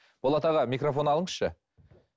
болат аға микрофон алыңызшы